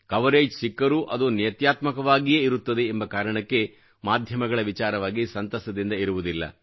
coverage ಸಿಕ್ಕರೂ ಅದು ನೇತ್ಯಾತ್ಮಕವಾಗಿಯೇ ಇರುತ್ತದೆ ಎಂಬ ಕಾರಣಕ್ಕೆ ಮಾಧ್ಯಮಗಳ ವಿಚಾರವಾಗಿ ಸಂತಸದಿಂದ ಇರುವುದಿಲ್ಲ